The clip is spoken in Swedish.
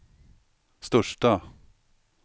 största